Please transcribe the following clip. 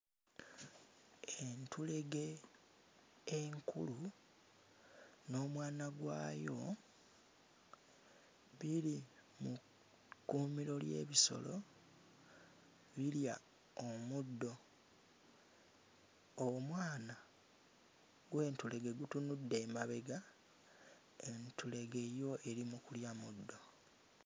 Entulege enkulu n'omwana gwayo biri mu kkuumiro ly'ebisolo birya omuddo. Omwana gw'entulege gutunudde emabega entulege yo eri mu kulya muddo.